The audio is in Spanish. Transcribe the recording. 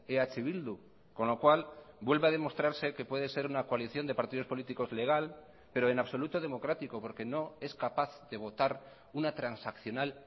eh bildu con lo cual vuelve a demostrarse que puede ser una coalición de partidos políticos legal pero en absoluto democrático porque no es capaz de votar una transaccional